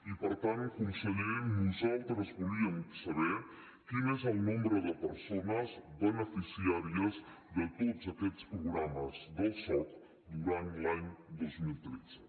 i per tant conseller nosaltres volíem saber quin és el nombre de persones beneficiàries de tots aquests programes del soc durant l’any dos mil tretze